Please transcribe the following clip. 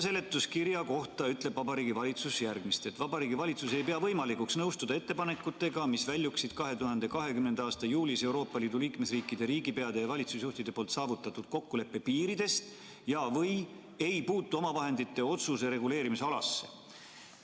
Seletuskirjas ütleb Vabariigi Valitsus järgmist: "Vabariigi Valitsus ei pea võimalikuks nõustuda ettepanekutega, mis väljuksid 2020. a juulis EL liikmesriikide riigipeade ja valitsusjuhtide poolt saavutatud kokkuleppe piiridest ja/või ei puutu omavahendite otsuse reguleerimisalasse.